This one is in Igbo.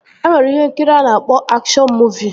E nwere ihe nkiri a na-akpọ akshọn muuvi